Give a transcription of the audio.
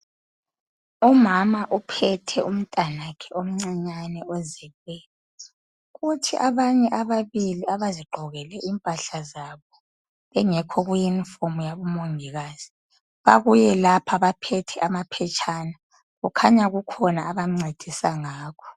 Umama uphethe umntwana wakhe omncinyane ozelweyo. Kuthi abanye ababili abazigqokele impahla zabo bengekho kuyunifomu yabomongikazi babuye lapha baphethe amaphetshana kukhanya kukhona abancedisa ngakho.